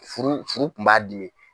Furu furu kun b'a dimi.